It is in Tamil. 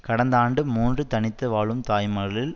கடந்த ஆண்டு மூன்று தனித்து வாழும் தாய்மார்களில்